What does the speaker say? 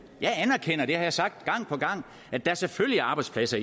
jeg anerkender og det har jeg sagt gang på gang at der selvfølgelig er arbejdspladser